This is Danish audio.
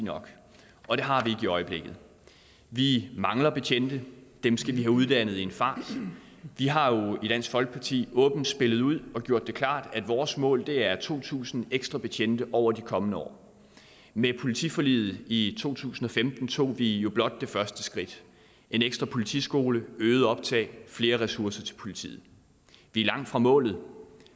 og det har i øjeblikket vi mangler betjente dem skal vi have uddannet i en fart vi har jo i dansk folkeparti åbent spillet ud og gjort det klart at vores mål er to tusind ekstra betjente over de kommende år med politiforliget i to tusind og femten tog vi jo blot det første skridt en ekstra politiskole øget optag flere ressourcer til politiet vi er langt fra målet